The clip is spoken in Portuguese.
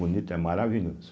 Bonito é maravilhoso.